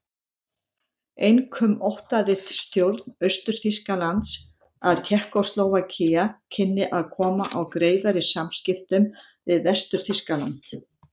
Einkum óttaðist stjórn Austur-Þýskalands að Tékkóslóvakía kynni að koma á greiðari samskiptum við Vestur-Þýskaland.